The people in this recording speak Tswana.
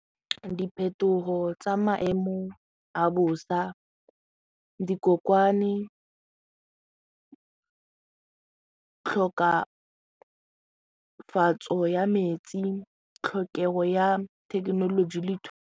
Diphetogo tsa maemo a bosa, dikokwane, tlhokafatso ya metsi, tlhokego ya thekenoloji le